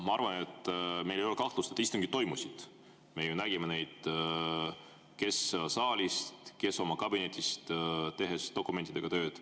Ma arvan, et meil ei ole kahtlust, et istungid toimusid, me ju nägime neid – kes saalist, kes oma kabinetist, tehes dokumentidega tööd.